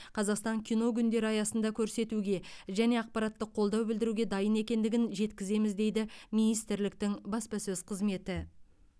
қазақстан кино күндері аясында көрсетуге және ақпараттық қолдау білдіруге дайын екендігін жеткіземіз дейді министрліктің баспасөз қызметі